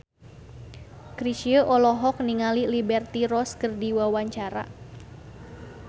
Chrisye olohok ningali Liberty Ross keur diwawancara